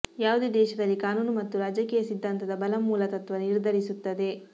ಯಾವುದೇ ದೇಶದಲ್ಲಿ ಕಾನೂನು ಮತ್ತು ರಾಜಕೀಯ ಸಿದ್ಧಾಂತದ ಬಲ ಮೂಲತತ್ವ ನಿರ್ಧರಿಸುತ್ತದೆ